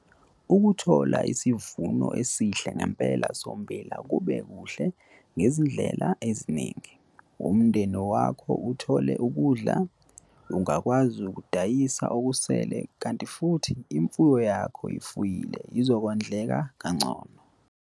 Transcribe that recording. Ukuthola isivuno esihle ngempela sommbila kube kuhle ngezindlela eziningi - umndeni wakho uthole ukudla, ungakwazi ukudayisa okusele kanti futhi imfuyo yakho oyifuyile izokondleka kangcono.